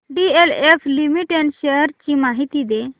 DLF limited shares ची माहिती दे